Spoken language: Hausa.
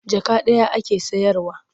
Jaka ɗaya ake sayarwa.